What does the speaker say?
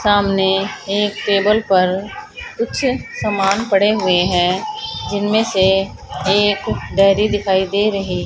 सामने एक टेबल पर कुछ सामान पड़े हुए हैं जिनमें से एक दरी दिखाई दे रही।